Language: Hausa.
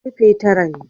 Ƙafa tara ne.